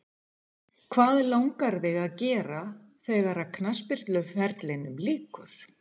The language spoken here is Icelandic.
Hvað langar þig að gera þegar að knattspyrnuferlinum líkur?